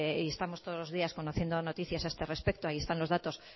y estamos todos los días conociendo noticias a este respecto ahí están los datos